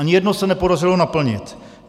Ani jedno se nepodařilo naplnit.